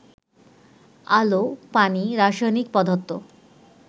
আলো, পানি, রাসায়নিক পদার্থ